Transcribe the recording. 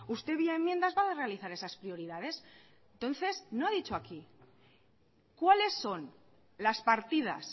usted vía enmiendas va a realizar esas prioridades entonces no ha dicho aquí cuáles son las partidas